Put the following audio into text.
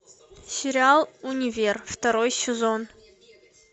сериал универ второй сезон